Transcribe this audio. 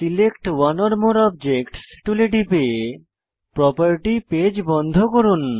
select one or more objects টুলে টিপে property page বন্ধ করুন